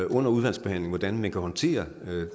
under udvalgsbehandlingen hvordan vi kan håndtere